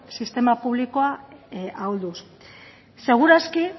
sistema publikoa ahulduz seguraski